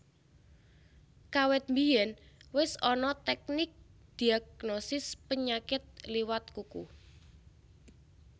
Kawit biyèn wis ana teknik ndhiagnosis penyakit liwat kuku